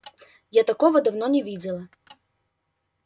я такого давно не видела